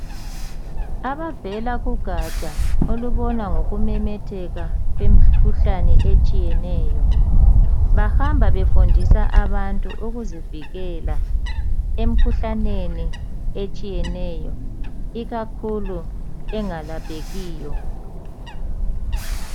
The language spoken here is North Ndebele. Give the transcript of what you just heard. Abavela kugatsha olubona ngokumemetheka kwemikhuhlane etshiyeneyo bahamba befundisa abantu ukuzivikela emkhuhlaneni etshiyeneyo ikakhulu engalaphekiyo.